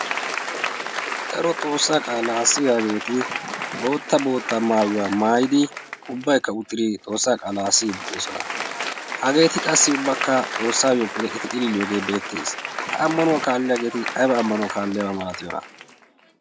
daro xoossaa qaalaa assi yaaneeti bootta bootta maayuwaa maayidi ubbaikka uxtiri xoossaa qaalaa asii uttidosona hageeti qassi ubbakka xoossaayyo pode eti ililiyoogee beettees. ha ammanuwaa kaalliyaageeti aibaa ammanuwaa kaalliyaabaa malatiyoona?